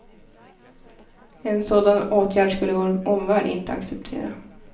En sådan åtgärd skulle vår omvärld inte acceptera.